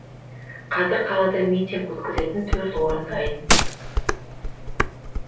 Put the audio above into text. қазір қалада митинг өткізетін төрт орын дайын